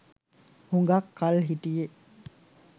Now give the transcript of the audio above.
හුඟක් කල් හිටියෙ.